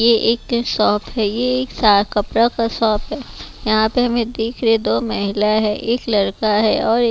ये एक शॉप है ये एक सा कपड़ा का शॉप है यहाँ पे हमें दिख रहे है दो महिला है एक लड़का है और ए --